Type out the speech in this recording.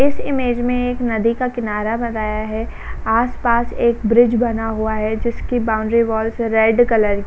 इस इमेज में एक नदी का किनारा बताया है। आस-पास एक ब्रिज बना हुआ है जिसकी बाउंड्री वाल्स रेड कलर की --